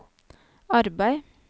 arbeid